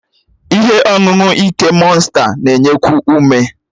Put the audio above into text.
Ihe ọṅụṅụ ike mọnsta na-enyekwu ume.